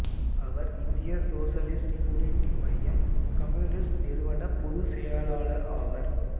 அவர் இந்திய socialist unity மையம் communist நிறுவனப் பொதுச் செயலாளர் ஆவார்